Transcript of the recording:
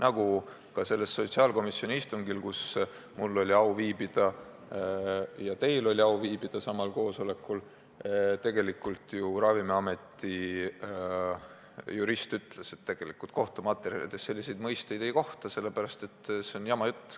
Aga ka sellel sotsiaalkomisjoni istungil, kus mul oli au viibida ja teilgi oli au viibida, ju Ravimiameti jurist ütles, et kohtumaterjalides selliseid mõisteid ei kohta, see on jama jutt.